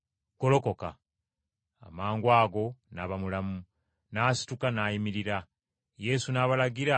Amangwago n’aba mulamu, n’asituka n’ayimirira. Yesu n’abalagira bamuwe ekyokulya.